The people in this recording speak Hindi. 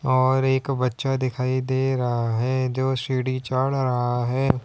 और एक बच्चा दिखाई दे रहा है जो सीढ़ी चढ़ रहा है।